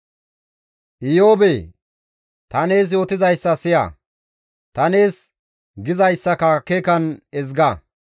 «Iyoobee! Ta nees yootizayssa siya; ta nees gizayssaka akeekan ezga;